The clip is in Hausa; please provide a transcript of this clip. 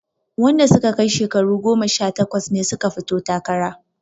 Wanda suka kai shekaru goma sha takwas ne suka fito takara